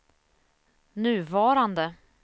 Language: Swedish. nuvarande